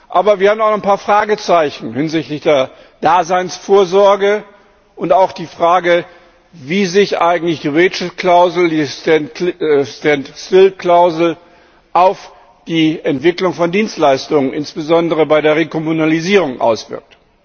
Aber wir haben auch ein paar Fragezeichen hinsichtlich der Daseinsvorsorge und auch die Frage, wie sich eigentlich die Stand still Klausel auf die Entwicklung von Dienstleistungen insbesondere bei der Rekommunalisierung auswirkt.